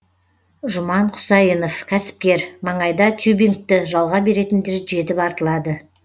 жұман құсайынов кәсіпкер маңайда тюбингті жалға беретіндер жетіп артылады